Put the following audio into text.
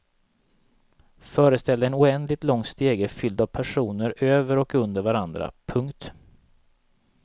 Föreställ dig en oändligt lång stege fylld av personer över och under varandra. punkt